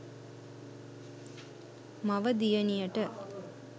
මව දියණියට